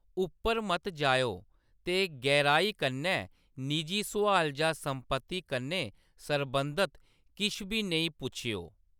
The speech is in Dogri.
उप्पर मत जाएओ ते गैहराई कन्नै निजी सुआल जां संपत्ती कन्नै सरबंधत किश बी नेई पुच्छेओ।